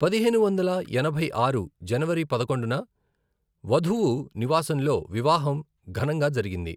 పదిహేను వందల ఎనభై ఆరు జనవరి పదకొండున వధువు నివాసంలో వివాహం ఘనంగా జరిగింది.